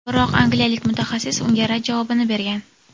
Biroq angliyalik mutaxassis unga rad javobini bergan.